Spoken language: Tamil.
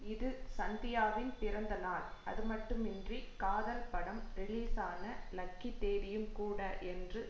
இது சந்தியாவின் பிறந்தநாள் அதுமட்டுமின்றி காதல் படம் ரிலீஸான லக்கி தேதியும் கூட என்று